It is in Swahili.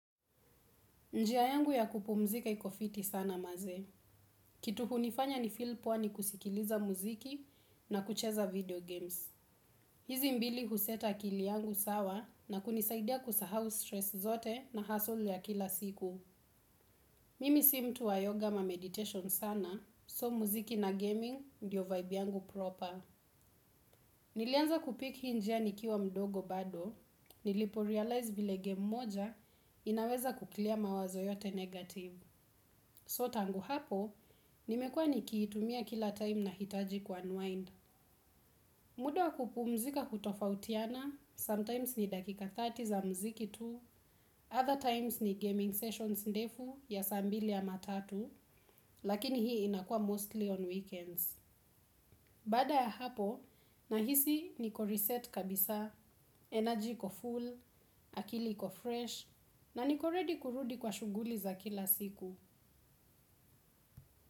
Njia yangu ya kupumzika iko fiti sana maze. Kitu hunifanya nifeel poa ni kusikiliza muziki na kucheza video games. Hizi mbinu huset akili yangu sawa na kunisaidia kusahau stress zote na hustle ya kila siku. Mimi si mtu wa yoga ama meditation sana, so muziki na gaming ndio vibe yangu proper. Nilianza kupick hii njia nikiwa mdogo bado, niliporealize vile game moja, inaweza kuclear mawazo yote negative. So tangu hapo, nimekua nikiitumia kila time nahitaji kuunwind. Muda wa kupumzika hutofautiana, sometimes ni dakika thelathini za mziki tu, other times ni gaming sessions ndefu ya saa mbili ama tatu, lakini hii inakua mostly on weekends. Baada ya hapo, nahisi niko reset kabisa, energy iko full, akili iko fresh, na niko ready kurudi kwa shughuli za kila siku.